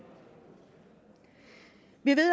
vi ved